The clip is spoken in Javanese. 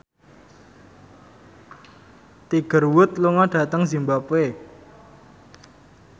Tiger Wood lunga dhateng zimbabwe